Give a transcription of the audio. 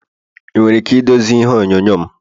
Ị nwere ike idozi ihe onyonyo m?